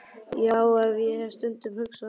Já, ég hef stundum hugsað um það.